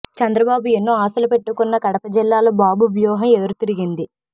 చంద్రబాబు ఎన్నో ఆశలు పెట్టుకున్న కడప జిల్లాలో బాబు వ్యూహం ఎదురు తిరిగింది